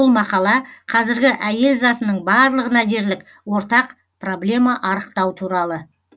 бұл мақала қазіргі әйел затының барлығына дерлік ортақ проблема арықтау туралы